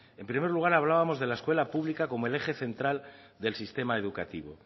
en primer lugar hablábamos de la escuela pública como el eje central del sistema educativo